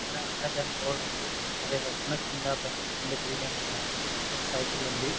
ఇక్కడ Amazon board ఉంది. అదే కాకుండా కింద పైన రెండు బిల్డింగ్లు ఉన్నాయి. ఒక సైకిల్ ఉంది.